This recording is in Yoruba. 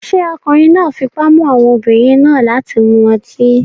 Ṣé ọkùnrin náà fipá mú àwọn obìnrin náà láti mu ọtí?